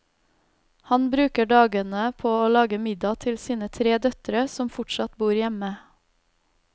Han bruker dagene på å lage middag til sine tre døtre som fortsatt bor hjemme.